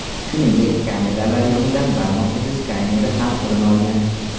Shuningdek, kameralar yonidan barmoq izi skaneri ham o‘rin olgan.